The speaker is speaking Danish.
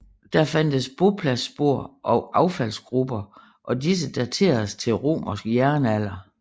Der fandtes bopladsspor og affaldsgruber og disse dateredes til romersk jernalder